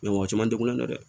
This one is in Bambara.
mɔgɔ caman tɛ kolon kɛ dɛ